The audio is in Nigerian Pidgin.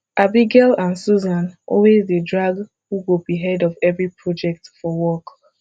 abigail and susan always dey drag who go be head of every project for work